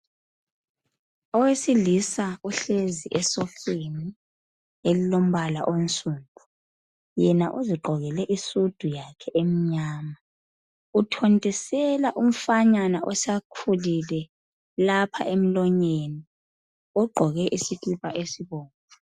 Owesilisa uhlezi esofeni elilombala onsundu. Yena uzigqokele isudu yakhe emnyama uthontisela umfanyana osekhulile lapha emlonyeni ogqoke isikipa esibomvu.